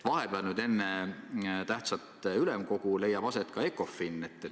Vahepeal, enne tähtsat ülemkogu leiab aset ka Ecofini istung.